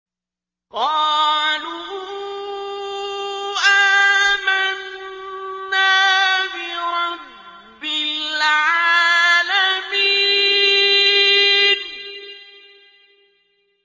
قَالُوا آمَنَّا بِرَبِّ الْعَالَمِينَ